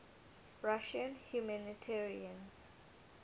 russian humanitarians